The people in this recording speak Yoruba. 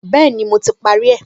Bẹ́ẹ̀ni, mo ti parí rẹ̀